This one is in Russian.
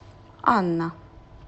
анна